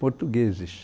Portugueses.